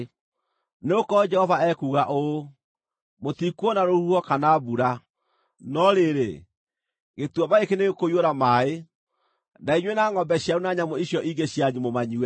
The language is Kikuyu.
Nĩgũkorwo Jehova ekuuga ũũ: Mũtikuona rũhuho kana mbura, no rĩrĩ, gĩtuamba gĩkĩ nĩgĩkũiyũra maaĩ, na inyuĩ, na ngʼombe cianyu na nyamũ icio ingĩ cianyu mũmanyue.